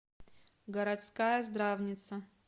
городская здравница